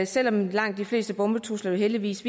selv om langt de fleste bombetrusler jo heldigvis